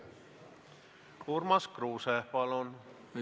Urmas Kruuse, palun!